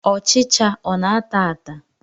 Ọchịcha ọ na-ata ata?